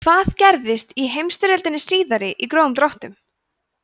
hvað gerðist í heimsstyrjöldinni síðari í grófum dráttum